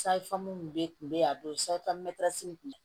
bɛ kun bɛ yen a don in kun